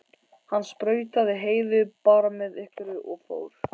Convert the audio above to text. Hann sprautaði Heiðu bara með einhverju og fór.